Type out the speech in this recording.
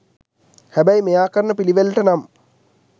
හැබැයි මෙයා කරන පිළිවෙලට නම්